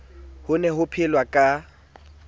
ho ne ho phelwa ka